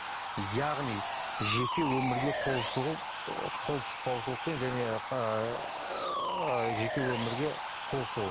яғни жеке өмірге қол сұғу ы қол сұқпаушылықпен және ыыы жеке өмірге қол сұғу